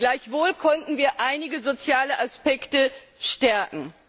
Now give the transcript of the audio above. Gleichwohl konnten wir einige soziale Aspekte stärken.